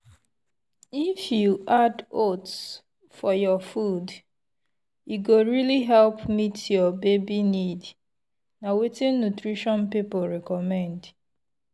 if you add oats for your food e go really help meet your baby need na wetin nutrition people recommend.